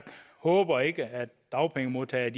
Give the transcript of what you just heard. håber ikke at dagpengemodtagerne